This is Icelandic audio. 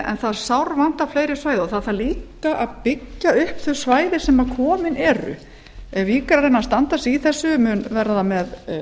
en það sárvantar fleiri svæði það þarf líka að byggja upp þau svæði sem komin eru vík er að reyna að standa sig í þessu mun verða með